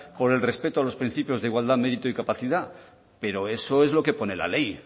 con el respeto a los principios de igualdad mérito y capacidad pero eso es lo que pone la ley